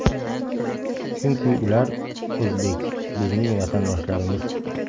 Chunki, ular o‘zbek, bizning vatandoshlarimiz!..